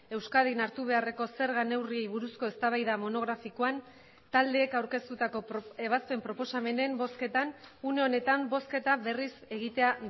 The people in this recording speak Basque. euskadin hartu beharreko zerga neurriei buruzko eztabaida monografikoan taldeek aurkeztutako ebazpen proposamenen bozketan une honetan bozketa berriz egitea